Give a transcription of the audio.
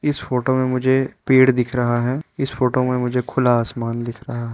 इस फोटो में मुझे पेड़ दिख रहा है इस फोटो में मुझे खुला आसमान दिख रहा --